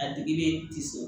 A digilen tɛ so